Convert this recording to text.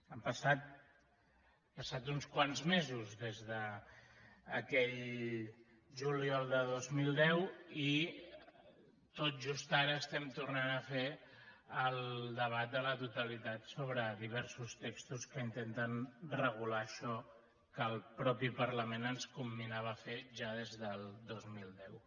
han passat uns quants mesos des d’aquell juliol de dos mil deu i tot just ara estem tornant a fer el debat de totalitat sobre diversos textos que intenten regular això que el mateix parlament ens comminava a fer ja des del dos mil deu